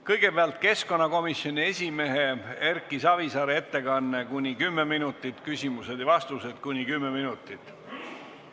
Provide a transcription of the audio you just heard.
Kõigepealt on keskkonnakomisjoni esimehe Erki Savisaare ettekanne kuni 10 minutit ning küsimused ja vastused samuti kuni 10 minutit.